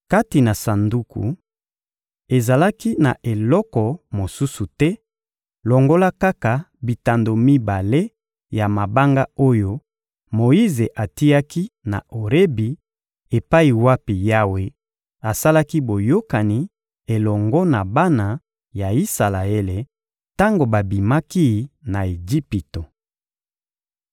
Kati na Sanduku, ezalaki na eloko mosusu te longola kaka bitando mibale ya mabanga oyo Moyize atiaki na Orebi epai wapi Yawe asalaki boyokani elongo na bana ya Isalaele tango babimaki na Ejipito.